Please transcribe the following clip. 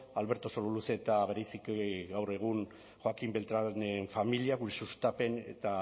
alberto sololuze eta bereziki gaur egun joaquín beltránen familiakoei sustapen eta